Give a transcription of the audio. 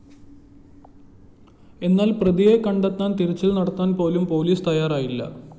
എന്നാല്‍ പ്രതിയെ കണ്ടെത്താന്‍തിരച്ചില്‍ നടത്താന്‍ പോലും പോലീസ് തയ്യാറായില്ല